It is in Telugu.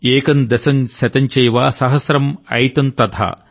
ఏకం దశం శతంచైవ సహస్రం అయుతం తథా